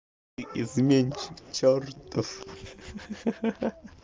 изменщик чёртов ха-ха